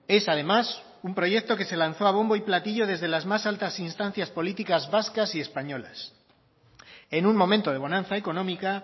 es además un proyecto que se lanzó a bombo y platillo desde las más altas instancias políticas vascas y españolas en un momento de bonanza económica